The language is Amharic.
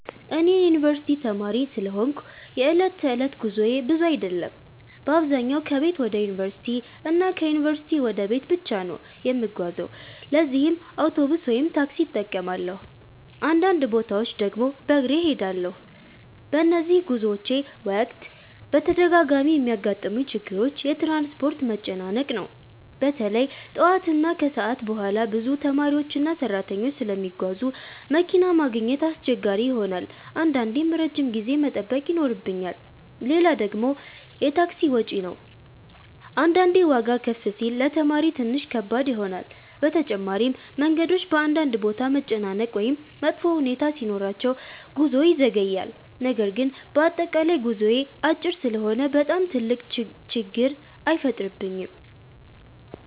እኔ የዩንቨርሲቲ ተማሪ ስለሆንኩ የዕለት ተዕለት ጉዞዬ ብዙ አይደለም። በአብዛኛው ከቤት ወደ ዩንቨርሲቲ እና ከዩንቨርሲቲ ወደ ቤት ብቻ ነው የምጓዘው ለዚህም አውቶቡስ ወይም ታክሲ እጠቀማለሁ፣ አንዳንድ ቦታዎች ድግም በግሬ እሄዳለሁ። በነዚህ ጉዞዎቼ ወቅት በተደጋጋሚ የሚያጋጥሙኝ ችግሮች የትራንስፖርት መጨናነቅ ነው። በተለይ ጠዋት እና ከሰዓት በኋላ ብዙ ተማሪዎችና ሰራተኞች ስለሚጓዙ መኪና ማግኘት አስቸጋሪ ይሆናል አንዳንዴም ረጅም ጊዜ መጠበቅ ይኖርብኛል። ሌላ ደግሞ የታክሲ ወጪ ነው አንዳንዴ ዋጋ ከፍ ሲል ለተማሪ ትንሽ ከባድ ይሆናል። በተጨማሪም መንገዶች በአንዳንድ ቦታ መጨናነቅ ወይም መጥፎ ሁኔታ ሲኖራቸው ጉዞ ይዘገያል። ነገር ግን በአጠቃላይ ጉዞዬ አጭር ስለሆነ በጣም ትልቅ ችግር አይፈጥርብኝም።